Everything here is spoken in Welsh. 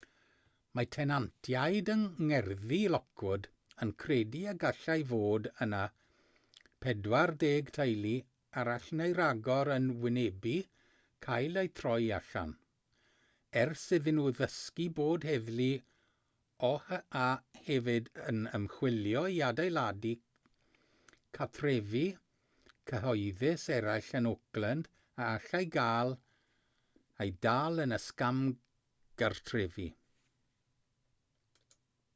mae tenantiaid yng ngerddi lockwood yn credu y gallai fod yna 40 teulu arall neu ragor yn wynebu cael eu troi allan ers iddyn nhw ddysgu bod heddlu oha hefyd yn ymchwilio i adeiladau cartrefi cyhoeddus eraill yn oakland a allai gael eu dal yn y sgam gartrefi